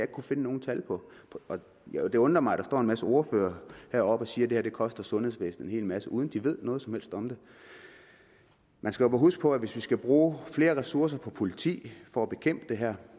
kunnet finde nogen tal for det undrer mig at der står en masse ordførere heroppe og siger at det koster sundhedsvæsenet en hel masse uden at de ved noget som helst om det man skal huske på at hvis vi skal bruge flere ressourcer på politi for at bekæmpe det her